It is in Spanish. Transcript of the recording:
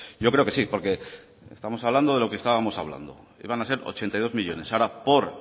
yo creo que sí porque estamos hablando de lo que estábamos hablando iban a ser ochenta y dos millónes ahora por